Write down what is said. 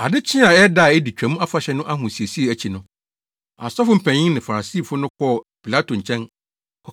Ade kyee a ɛyɛ da a edi Twam Afahyɛ no ahosiesie akyi no, asɔfo mpanyin ne Farisifo no kɔɔ Pilato nkyɛn,